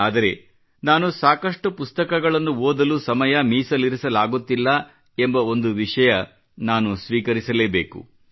ಆದರೆ ನಾನು ಸಾಕಷ್ಟು ಪುಸ್ತಕಗಳನ್ನು ಓದಲು ಸಮಯ ಮೀಸಲಿರಿಸಲಾಗುತ್ತಿಲ್ಲ ಎಂಬ ಒಂದು ವಿಷಯ ನಾನು ಸ್ವೀಕರಿಸಲೇಬೇಕು